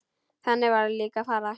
Þannig varð líka að fara.